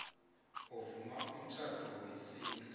ovuma umtjhado wesintu